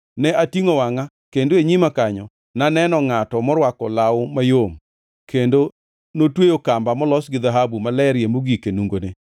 ne atingʼo wangʼa kendo e nyima kanyo naneno ngʼato morwako law mayom, kendo notweyo kamba molos gi dhahabu malerie mogik e nungone.